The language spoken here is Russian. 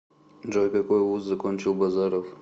джой какой вуз закончил базаров